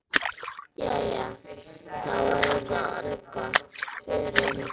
Jæja, þá er þetta orðið gott. Förum.